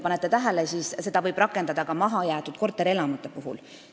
Pange tähele, et seda võib rakendada ka mahajäetud korterelamute puhul.